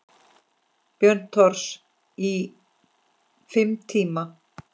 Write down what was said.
Björn Thors: Í fimm tíma?